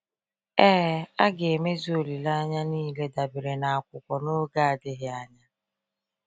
Ee, a ga-emezu olileanya niile dabere n’akwụkwọ n’oge adịghị anya.